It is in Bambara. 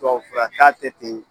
Tuwawu furata tɛ ten